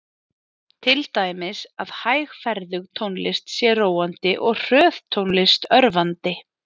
Til dæmis að hægferðug tónlist sé róandi og hröð tónlist örvandi.